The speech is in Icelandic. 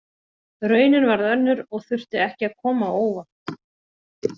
Raunin varð önnur og þurfti ekki að koma á óvart.